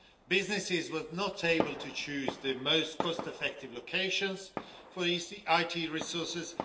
Businesses were not able to choose the most cost effective locations for IT resources